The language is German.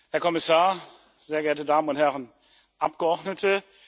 Herr Kommissar, sehr geehrte Damen und Herren Abgeordnete!